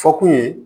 Fɔ kun ye